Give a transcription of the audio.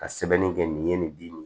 Ka sɛbɛnni kɛ nin ye nin bin ye